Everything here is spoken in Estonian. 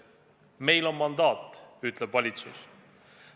Meil on mandaat, ütleb valitsus.